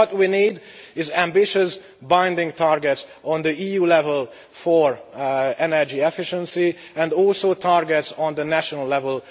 So, what we need is ambitious binding targets on the EU level for energy efficiency, and also targets on the national level.